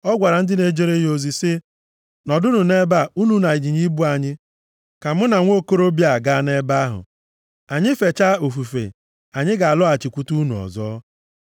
Ọ gwara ndị na-ejere ya ozi sị, “Nọdụnụ nʼebe a, unu na ịnyịnya ibu anyị, ka mụ na nwokorobịa a gaa nʼebe ahụ. Anyị feecha ofufe, anyị ga-alọghachikwute unu ọzọ.”